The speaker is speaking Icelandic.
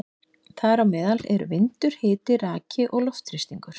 Þar á meðal eru vindur, hiti, raki og loftþrýstingur.